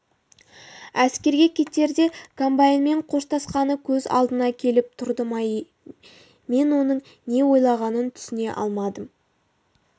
әскерге кетерде комбайнымен қоштасқаны көз алдына келіп тұрды ма мен оның не ойлағанын түсіне алмадым